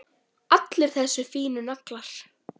Allir þessir fínu naglar!